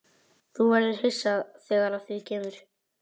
Þú verður hissa þegar að því kemur.